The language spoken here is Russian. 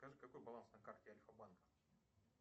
скажи какой баланс на карте альфа банка